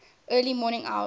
early morning hours